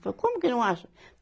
Falei, como que não acha?